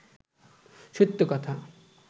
সত্য কথা